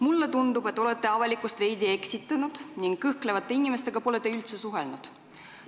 Mulle tundub, et olete avalikkust veidi eksitanud ning kõhklevate inimestega pole üldse suhelnud.